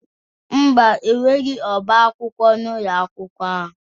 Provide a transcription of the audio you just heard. Mba, enweghị ọbá akwụkwọ n'ụlọ akwụkwọ ahụ